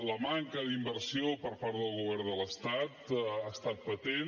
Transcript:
la manca d’inversió per part del govern de l’estat ha estat patent